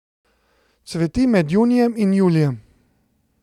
Cveti med junijem in julijem.